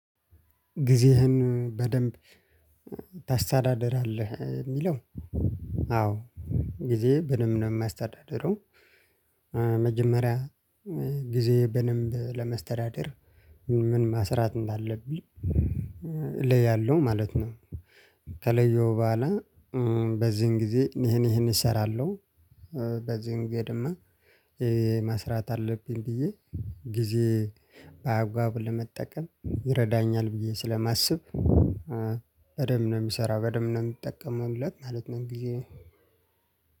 ጊዜህን በደንብ ታስተዳደራለህ የሚለው? አዎ ጊዜ በደንብ ነው የማስተዳደረው መጀመሪያ ጊዜ በደንብ ለመስተዳደር፣ ምን መስራት እንዳለብኝ እለያለሁ ማለት ነው። ከለየው በኋላ በዚህን ጊዜ ይሄን ይሄን እሰራለሁ በዚህን ደግሞ መስራት አለብኝ ብዬ ጊዜ በአግባቡ ለመጠቀም ይረዳኛል ብዬ ስለማስብ በደንብ ነው የምሰራው በደንብ ነው የምጠቀምበት ማለት ነው ጊዜ